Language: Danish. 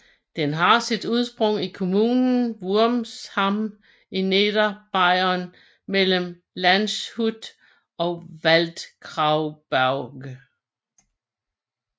Den har sit udspring i kommunen Wurmsham i Niederbayern mellem Landshut og Waldkraiburg